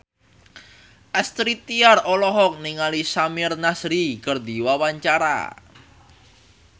Astrid Tiar olohok ningali Samir Nasri keur diwawancara